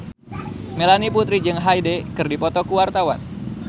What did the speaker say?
Melanie Putri jeung Hyde keur dipoto ku wartawan